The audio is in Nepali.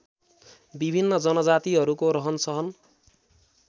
विभिन्न जनजातिहरूको रहनसहन